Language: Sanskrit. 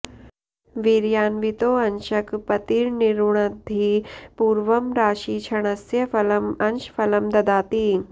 वीर्यान्वितोऽंशक पतिर्निरुणद्धि पूर्वं राशी क्षणस्य फलम् अंश फलं ददाति